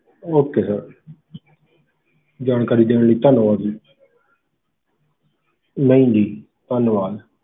Okay sir ਜਾਣਕਾਰੀ ਦੇਣ ਲਈ ਧੰਨਵਾਦ ਜੀ ਨਹੀਂ ਜੀ, ਧੰਨਵਾਦ।